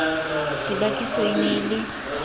dibakiso e ne e le